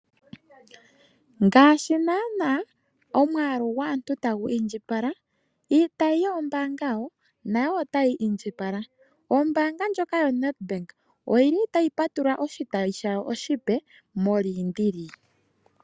Ngaashi naana omwaalu gwaantu ta gu indjipala, iitayi yoombaanga wo nayo ota yi indjipala. Ombaanga ndjoka yo Nedbank oyi li ta yi patulula oshitayi shayo oshipe moLuderitz.